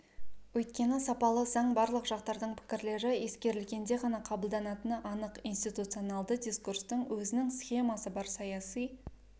өйткені сапалы заң барлық жақтардың пікірлері ескерілгенде ғана қабылданатыны анық институционалды дискурстың өзінің схемасы бар саяси